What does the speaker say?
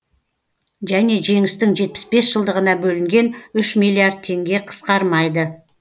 және жеңістің жетпіс бес жылдығына бөлінген үш миллиард теңге қысқармайды